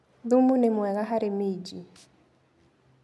Thumu nĩ mwega harĩ minji.